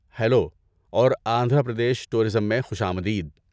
Hello اور Andhra Pradesh tourism میں خوش آمدید۔